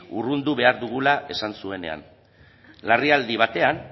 urrundu behar dugula esan zuenean larrialdi batean